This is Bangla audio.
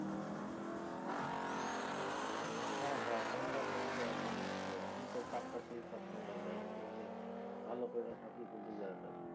হ হ পাঞ্জাব ব্যাঙ্কে একজন আছে আমি তো তার কাছেই সবসময় যাই। ভালো কইরা সবকিছু বুঝায়া দেয়।